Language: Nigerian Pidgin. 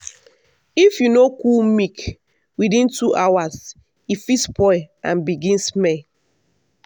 if you no cool milk within two hours e fit spoil and begin smell.